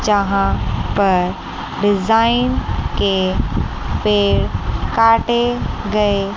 जहां पर डिजाइन के पेड़ काटे गए --